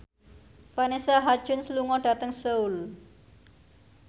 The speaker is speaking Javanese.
Vanessa Hudgens lunga dhateng Seoul